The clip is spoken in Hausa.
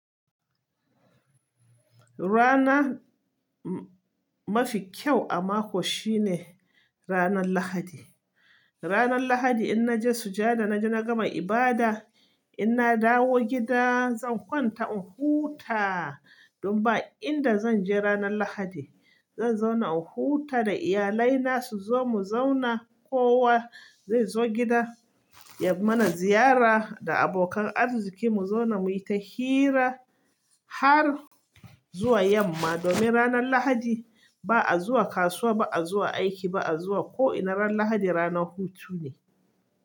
Rana mafi kyau a mako shine ranan Lahadi. Ranan Lahadi inna je sujada naje na gama ibada inna dawo gida zan kwanta in huta. Dan ba inda zanje ranan Lahadi. Zan zauna in huta da iyalai na suzo mu zauna kowa zai zo gida ya mana ziyara da abokan arziki mu zauna muyi ta hira har zuwa yamma. Domin ranan Lahadi ba'a zuwa kasuwa ba'a zuwa aiki ba'a zuwa ko'ina ran Lahadi rana hutu ne.